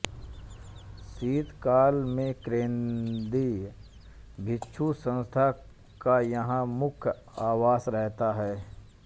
शीतकाल में केंद्रीय भिक्षु संस्था का यहां मुख्य आवास रहता है